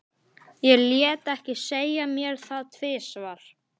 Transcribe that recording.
Ég lét ekki segja mér það tvisvar.